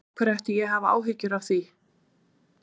Af hverju ætti ég að hafa áhyggjur af því?